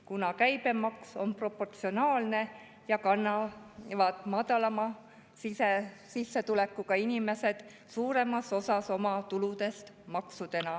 Kuna käibemaks on proportsionaalne, kannavad madalama sissetulekuga inimesed suuremas osas oma tuludest maksudena …